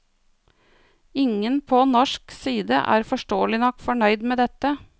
Ingen på norsk side er forståelig nok fornøyd med dette.